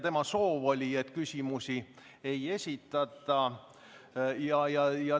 Tema soov oli, et küsimusi ei esitataks.